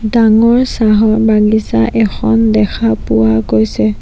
ডাঙৰ চাহ বাগিছা এখন দেখা পোৱা গৈছে।